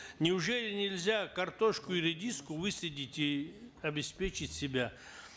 неужели нельзя картошку и редиску высадить и обеспечить себя